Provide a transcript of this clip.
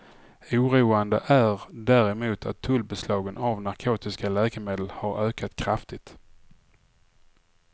Oroande är däremot att tullbeslagen av narkotiska läkemedel har ökat kraftigt.